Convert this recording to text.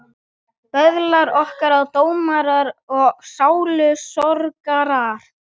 Böðlar okkar og dómarar og sálusorgarar.